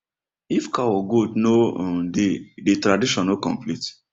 if cow or goat no um dey di tradition no complete